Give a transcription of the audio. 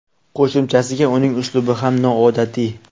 Qo‘shimchasiga uning uslubi ham noodatiy.